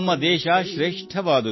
ಭಾರತ ಪ್ರಪಂಚದ ಹೆಮ್ಮೆ ಸೋದರಾ